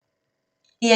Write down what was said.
DR1